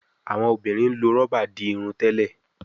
Awọn obìrin ló okún roba dì Irun tèlé